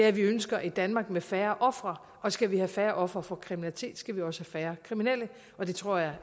at vi ønsker et danmark med færre ofre skal vi have færre ofre for kriminalitet skal vi også have færre kriminelle det tror jeg